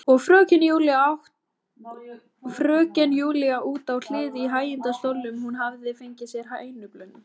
Og fröken Júlía út á hlið í hægindastólnum, hún hafði fengið sér hænublund.